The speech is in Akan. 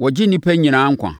wɔgye nnipa nyinaa nkwa.